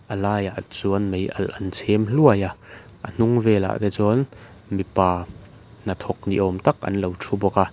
a laiah chuan mei alh an chhem hluai a a hnung velah te chuan mipa hnathawk ni awm tak an lo thu bawk a.